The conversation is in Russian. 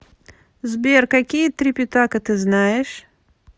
сбер какие трипитака ты знаешь